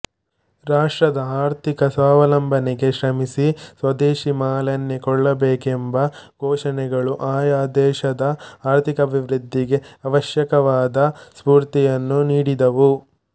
ರಾಷ್ಟ್ರದ ಆರ್ಥಿಕ ಸ್ವಾವಲಂಬನೆಗೆ ಶ್ರಮಿಸಿ ಸ್ವದೇಶಿ ಮಾಲನ್ನೇ ಕೊಳ್ಳಬೇಕೆಂಬ ಘೋಷಣೆಗಳು ಆಯಾ ದೇಶದ ಆರ್ಥಿಕಾಭಿವೃದ್ಧಿಗೆ ಆವಶ್ಯಕವಾದ ಸ್ಫೂರ್ತಿಯನ್ನು ನೀಡಿದವು